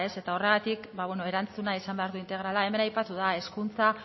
eta horregatik erantzunak izan behar du integrala hemen aipatu da hezkuntza